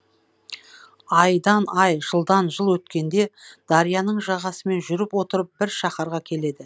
айдан ай жылдан жыл өткенде дарияның жағасымен жүріп отырып бір шаһарға келеді